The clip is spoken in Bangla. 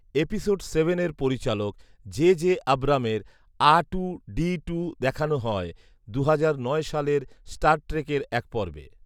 এপিসোড সেভেনের পরিচালক জে জে আব্রামের আ টু ডি টু দেখানো হয় দুহাজার নয় সালের স্টার ট্রেকের এক পর্বে